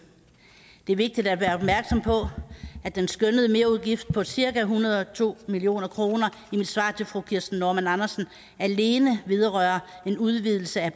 det er vigtigt at være opmærksom på at den skønnede merudgift på cirka en hundrede og to million kroner i mit svar til fru kirsten normann andersen alene vedrører en udvidelse af